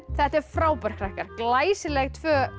þetta er frábært krakkar glæsileg tvö